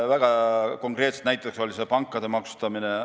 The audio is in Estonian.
Väga konkreetne näide oli siin pankade maksustamine.